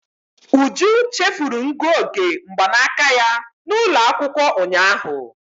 Uju chefuru ngụoge mgbanaka ya n'ụlọ akwụkwọ ụnyaahụ.